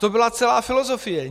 To byla celá filozofie.